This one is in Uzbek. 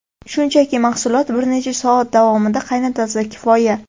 Shunchaki mahsulotlar bir necha soat davomida qaynatilsa, kifoya.